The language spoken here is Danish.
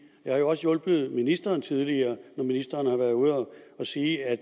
jeg har også hjulpet ministeren tidligere når ministeren har været ude at sige at